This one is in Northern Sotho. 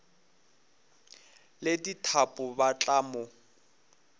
le dithapo ba tla mo